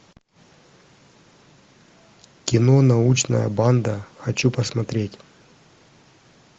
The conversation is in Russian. кино научная банда хочу посмотреть